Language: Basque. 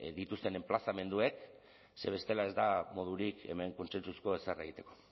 dituzten enplazamenduek ze bestela ez da modurik hemen kontsentsuzko ezer egiteko